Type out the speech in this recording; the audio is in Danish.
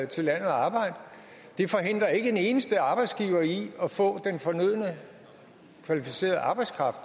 til landet og arbejde det forhindrer ikke en eneste arbejdsgiver i at få den fornødne kvalificerede arbejdskraft